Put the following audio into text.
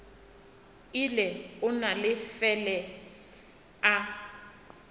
ile a no fele a